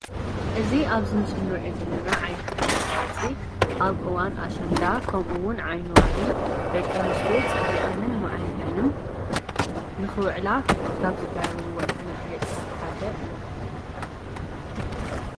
እዚ ኣብዚ ምስሊ እንሪኦ ዘለና ዓይነት መጋየፂ ኣብ እዋን ኣሸንዳን ከምኡ እውን ዓይኒ ዋሪ ደቂ ኣነስትዮ ፅቢቐንን ማዕሪገንን ንክውዕላ ካብ ዝገብርዎን መጋየፂታት ሓደ እዩ።